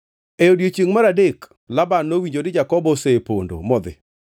E odiechiengʼ mar adek Laban nowinjo ni Jakobo osepondo modhi.